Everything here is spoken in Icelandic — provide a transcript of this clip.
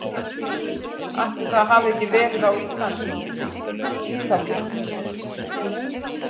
Ætli það hafi ekki verið Ísland- Ítalía